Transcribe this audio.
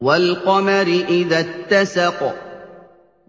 وَالْقَمَرِ إِذَا اتَّسَقَ